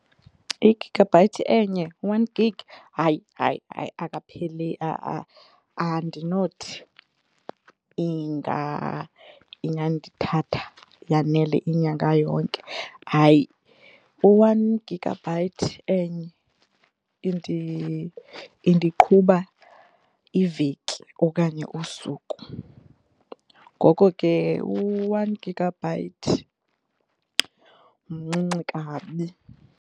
I-gigabyte enye u-one gig hayi hayi hayi akapheleli andinothi ingandithatha yanele inyanga yonke. Hayi u-one gigabyte enye indiqhuba iveki okanye usuku. Ngoko ke u-one gigabyte mncinci kabi.